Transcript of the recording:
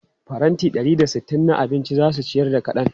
Faranti ɗari da sittin na abinci za su ciyar da kaɗan.